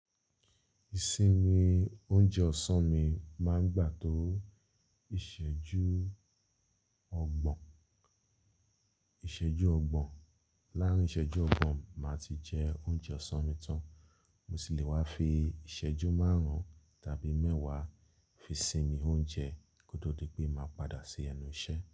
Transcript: Ìsinmi oúnjẹ ọ̀sán mi máa ń gbà tó ìṣẹ́jú ọgbọ̀n. Lárin ìṣẹ́jú ọgbọ̀n màá ti jẹ oúnjẹ ọ̀sán mi tán. Mo sì le wa fi ìṣẹ́jú márùn-ún tàbí mẹ́wàá fi sinmi oúnjẹ kó tó dì pé màá padà ṣì ẹnu iṣẹ́